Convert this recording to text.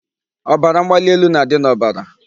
Ọbara mgbali elu na-adị n'obara.